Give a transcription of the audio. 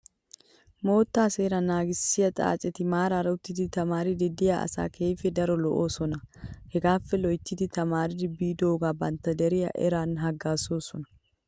Moottaa Seeraa naagissiyaa xaaceti maaraara uttidi tamaariiddi diya asayi keehippe daro lo"oosona. Hagaappe loyitti tamaari biidoogan bantta deriya eran haggaazoosona.